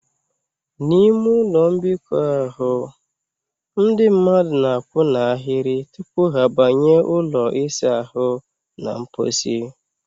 N'ime ụlọ mbikọ ahụ, ndị mmadụ na a kwụ n'ahịrị tupu ha banye ụlọ ịsa ahụ na mposi